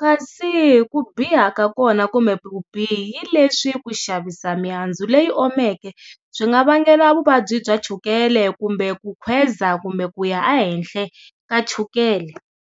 kasi ku biha ka kona kumbe vubihi leswi ku xavisa mihandzu leyi omisiweke swi nga vangela vuvabyi bya chukele kumbe ku khweza kumbe ku ya a henhla ka chukele.